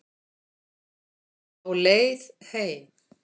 Á leið heim